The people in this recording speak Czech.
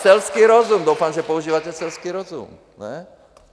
Selský rozum, doufám, že používáte selský rozum, ne?